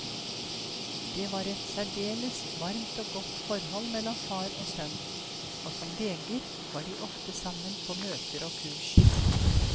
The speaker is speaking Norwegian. Det var et særdeles varmt og godt forhold mellom far og sønn, og som leger var de ofte sammen på møter og kurs.